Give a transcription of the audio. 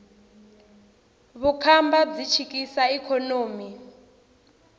vukhamba byi chikisa ikhonomi